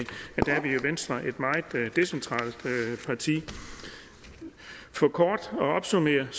venstre er et meget decentralt parti for kort at opsummere